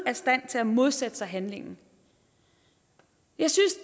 af stand til at modsætte sig handlingen jeg synes